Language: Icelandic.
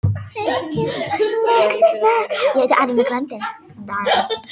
Fiskarnir eru farnir að sofa, sagði hann, við skulum gera það líka.